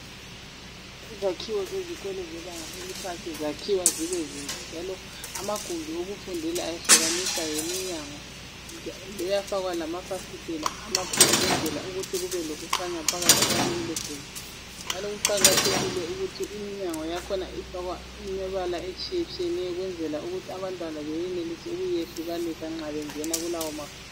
Izakhiwo zezikolo zebanga eliphansi, zakhiwa zibezinhle, njalo amagumbi okufundela ayehlukaniswa yiminyango . Kuyafakwa lamafasitela amakhulu, ukwenzela ukuthi kube lokukhanya phakathi kwalelogumbi, njalo kuqakathekile ukuthi iminyango yakhona Ifakwe imibala etshiyetshiyeneyo. Ukwenzela ukuthi abantwana benelise ukuyehlukanisa nxa bengena kulawomagumbi.